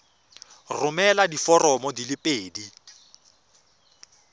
romela diforomo di le pedi